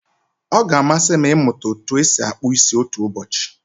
Ọ ga-amasị m ịmụta otú e si akpụ isi otu ụbọchị.